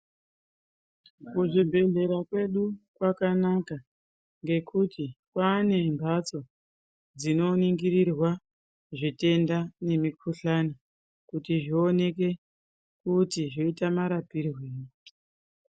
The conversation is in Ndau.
Kuzvibhehlera kwedu kwakanaka ngekuti kwaane mbatso dzinoningirwa zvitenda nemikuhlani kuti zvioneke kuti zvoite marapirweyi.